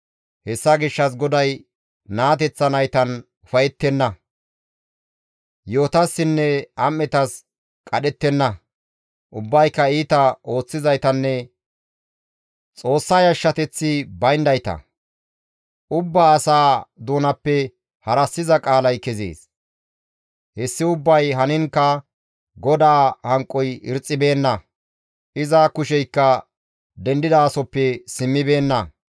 Hessa gishshas GODAY naateththa naytan ufayettenna; yi7otassinne am7etas qadhettenna; ubbayka iita ooththizaytanne Xoossa yashshateth bayndayta; ubbaa asaa doonappe harassiza qaalay kezees; hessi ubbay haniinkka GODAA hanqoy irxxibeenna; iza kusheykka dendidasoppe simmibeenna.